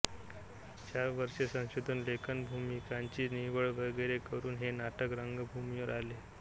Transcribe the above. चार वर्षे संशोधन लेखन भूमिकांची निवड वगैरे करून हे नाटक रंगभूमीवर आले